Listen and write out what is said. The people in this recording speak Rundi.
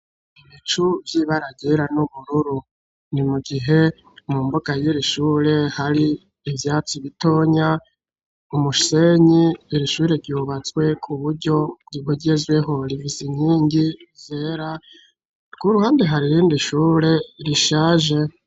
ibicu vy'ibara ryera n'ubururu ni mugihe mu mbuga y'iri shure hari ivyatsi bitonya ,umushenyi irishure ryubatswe ku buryo bugezweho rifise inkingi zera kuruhande hari irindi shure rishaje.